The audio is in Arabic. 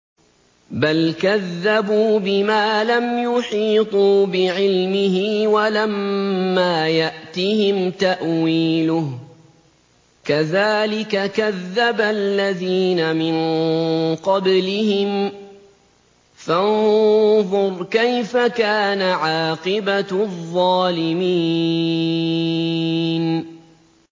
بَلْ كَذَّبُوا بِمَا لَمْ يُحِيطُوا بِعِلْمِهِ وَلَمَّا يَأْتِهِمْ تَأْوِيلُهُ ۚ كَذَٰلِكَ كَذَّبَ الَّذِينَ مِن قَبْلِهِمْ ۖ فَانظُرْ كَيْفَ كَانَ عَاقِبَةُ الظَّالِمِينَ